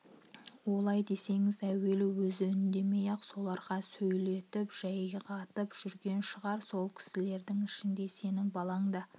олай десеңіз әуелі өзі үндемей-ақ соларға сөйлетіп жайғатып жүрген шығар сол кісілердің ішінде сенің балаң да